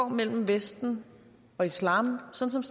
mellem vesten og islam sådan